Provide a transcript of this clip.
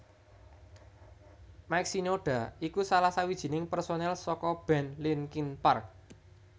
Mike Shinoda iku salah sawijining pérsonil saka band Linkin Park